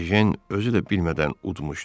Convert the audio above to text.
Ejen özü də bilmədən udmuşdu.